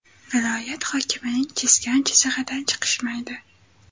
Viloyat hokimining chizgan chizig‘idan chiqishmaydi.